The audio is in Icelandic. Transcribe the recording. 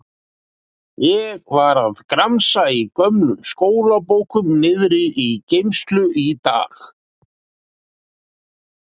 Ég var að gramsa í gömlum skólabókum niðri í geymslu í dag.